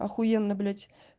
ахуенно блять